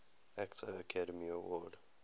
actor academy award